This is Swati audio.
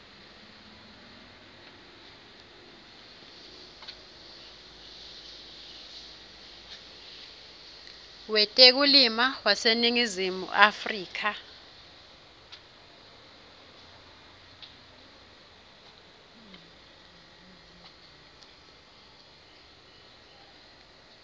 wetekulima waseningizimu afrika